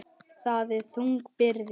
Það er þung byrði.